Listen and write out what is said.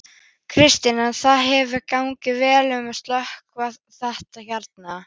Kristinn: En það hefur gengið vel að slökkva þetta hérna?